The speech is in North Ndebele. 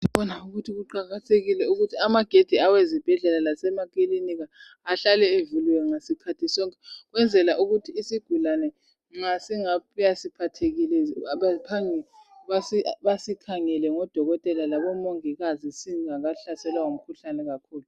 Kuqakathekile ukuthi amagedi awezibhedlela lasemakilinika ahlale evuliwe ngasikhathi sonkeukwenzela ukuthi isigulane nxa singabuya siphathekile baphangise basikhangele odokotela labomongikazi singakahlaselwa ngumkhuhlane kakhulu